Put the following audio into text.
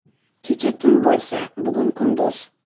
Kecha tun bo‘lsa, bugun kunduz.